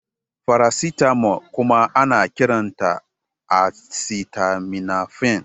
Faracetamol kuma ana kiranta acetaminofen.